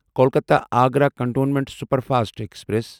Kolkata Agra Cantonment Superfast express